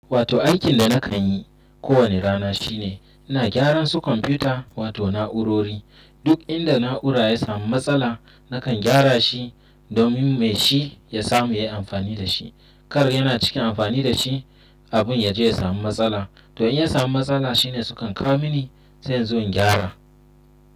Wato aikin da na kan yi kowane rana shine ina gyaran su kwamfuta wato na'urori. Duk inda na'ura ya samu matsala nakan gyara shi domin mai shi ya samu yayi amfani da shi. Kar yana cikin amfani da shi abun ya je ya samu matsala. To in ya samu matsala shine su kan kawo mini sai inzo in gyara.